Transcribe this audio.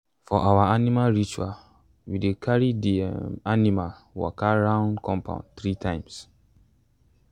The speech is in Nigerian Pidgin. for our animal ritual we dey carry the um animal um waka round the compound three times.